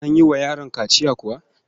An yi wa yaron kaciya kuwa?